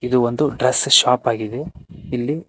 ಒಂದು dress shop ಆಗಿದೆ ಇಲ್ಲಿ--